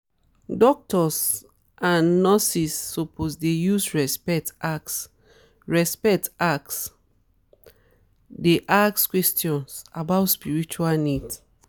doctors and nurses suppose dey use respect ask respect ask dey ask questions about spiritual needs